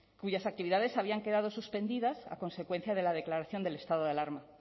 cuyas actividades habían quedado suspendidas a consecuencia de la declaración del estado de alarma